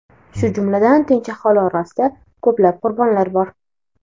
shu jumladan tinch aholi orasida ko‘plab qurbonlar bor.